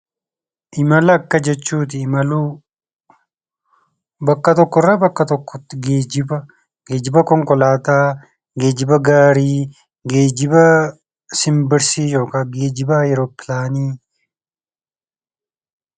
Imala akka jechuuti imaluu. Bakka tokkorraa bakka tokkotti geejjiba konkolaataa, geejjiba gaarii, geejjiba simbirsii yookiin geejjiba awuroppilaani.